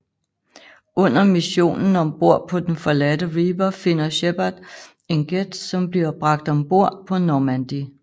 Under missionen om bord på den forladte Reaper finder Shepard en Geth som bliver bragt om bord på Normandy